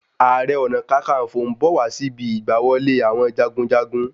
Ààrẹ-ọ̀nà-kakanfo ń bọ̀ wá síbi igbá wọlé àwọn jagunjagun